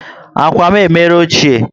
Ákwà m emere ochie